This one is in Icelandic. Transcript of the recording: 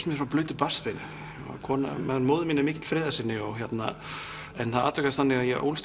mér frá blautu barnsbeini móðir mín er mikill friðarsinni en það atvikast þannig að ég ólst